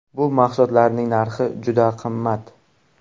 Bu mahsulotlarning narxi juda qimmat.